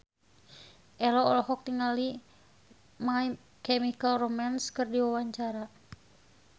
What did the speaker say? Ello olohok ningali My Chemical Romance keur diwawancara